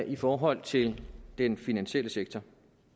i forhold til den finansielle sektor